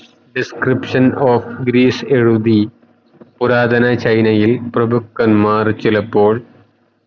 description of Greece എഴുതി പുരാതന China യിൽ പ്രഭുക്കന്മാർ ചിലപ്പോൾ